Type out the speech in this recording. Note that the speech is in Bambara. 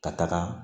Ka taga